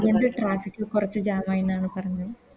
Traffic കൊർച്ച് Jam ആയിന്നാണ് പറഞ്ഞത്